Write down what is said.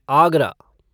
Agra